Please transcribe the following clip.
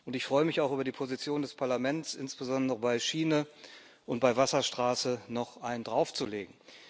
Ich freue mich auch über die Position des Europäischen Parlaments, insbesondere bei Schiene und bei Wasserstraße noch einen draufzulegen.